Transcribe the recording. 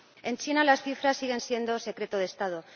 En China, las cifras siguen siendo secreto de Estado.